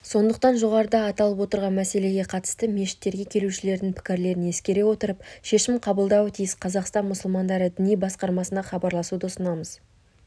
сондықтан жоғарыда аталып отырған мәселеге қатысты мешіттерге келушілердің пікірлерін ескере отырып шешім қабылдауы тиіс қазақстан мұсылмандары діни басқармасына хабарласуды ұсынамыз